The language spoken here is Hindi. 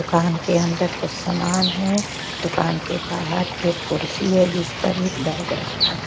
दुकान के अंदर कुछ सामान है दुकान के बाहर एक कुर्सी है जिस पर एक बैग रखा है।